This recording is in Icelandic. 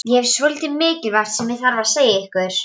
Ég hef svolítið mikilvægt sem ég þarf að segja þér.